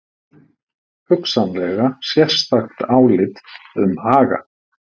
Hugsanlega sérstakt álit um Haga